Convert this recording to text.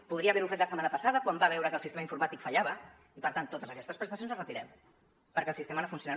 podria haver ho fet la setmana passada quan va veure que el sistema informàtic fallava i per tant totes aquestes prestacions les retirem perquè el sistema no funciona